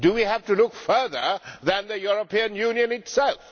Do we have to look further than the European Union itself?